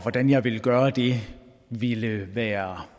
hvordan jeg ville gøre det ville være